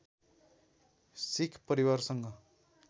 सिख परिवारसँग